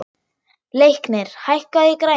Leiknir, hækkaðu í græjunum.